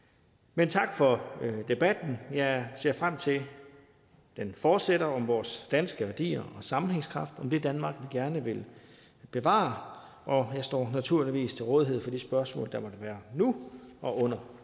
men tak for debatten jeg ser frem til at den fortsætter om vores danske værdier og sammenhængskraft om det danmark vi gerne vil bevare og jeg står naturligvis til rådighed for de spørgsmål der måtte være nu og under